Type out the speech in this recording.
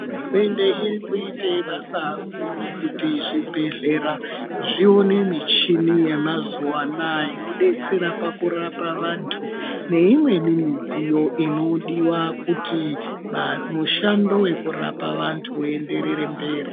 Hurumende iri kuite basa guru kuti zvibhedhlera zvione michini yemazuwaanaa inodetsere pakurapa anthu neimweni michini inodiwa kuti mushando wekurapa vanthu uenderere mberi.